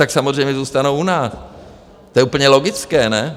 Tak samozřejmě zůstanou u nás, to je úplně logické, ne?